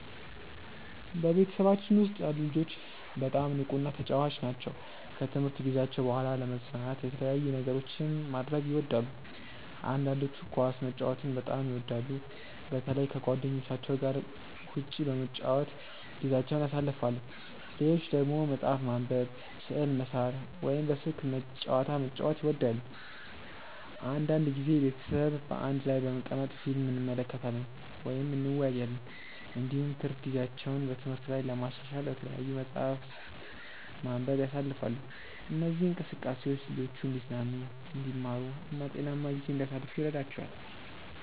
በቤተሰባችን ውስጥ ያሉ ልጆች በጣም ንቁና ተጫዋች ናቸው። ከትምህርት ጊዜያቸው በኋላ ለመዝናናት የተለያዩ ነገሮችን ማድረግ ይወዳሉ። አንዳንዶቹ ኳስ መጫወትን በጣም ይወዳሉ፣ በተለይ ከጓደኞቻቸው ጋር ውጭ በመጫወት ጊዜያቸውን ያሳልፋሉ። ሌሎች ደግሞ መጽሐፍ ማንበብ፣ ስዕል መሳል ወይም በስልክ ጨዋታ መጫወት ይወዳሉ። አንዳንድ ጊዜ ቤተሰብ በአንድ ላይ በመቀመጥ ፊልም እንመለከታለን ወይም እንወያያለን። እንዲሁም ትርፍ ጊዜያቸውን በትምህርት ላይ ለማሻሻል በተለያዩ መጻሕፍት ማንበብ ያሳልፋሉ። እነዚህ እንቅስቃሴዎች ልጆቹ እንዲዝናኑ፣ እንዲማሩ እና ጤናማ ጊዜ እንዲያሳልፉ ይረዳቸዋል።